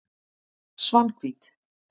Svanhvít